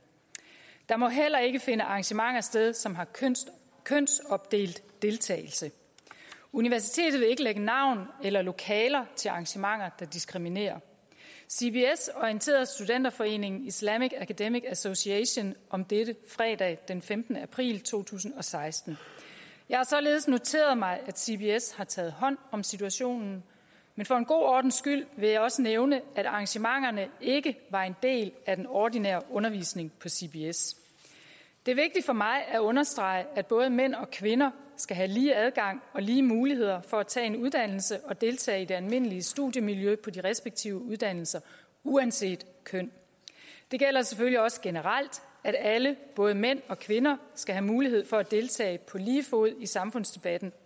der må heller ikke finde arrangementer sted som har kønsopdelt deltagelse universitetet vil ikke lægge navn eller lokaler til arrangementer der diskriminerer cbs orienterede studenterforeningen islamic academic association om dette fredag den femtende april to tusind og seksten jeg har således noteret mig at cbs har taget hånd om situationen men for god ordens skyld vil jeg også nævne at arrangementerne ikke var en del af den ordinære undervisning på cbs det er vigtigt for mig at understrege at både mænd og kvinder skal have lige adgang og lige muligheder for at tage en uddannelse og deltage i det almindelige studiemiljø på de respektive uddannelser uanset køn det gælder selvfølgelig også generelt at alle både mænd og kvinder skal have mulighed for at deltage på lige fod i samfundsdebatten